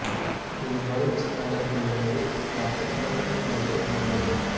இது பரூச் நகரத்திலிருந்து பத்து கி மீ தொலைவில் அமைந்துள்ளது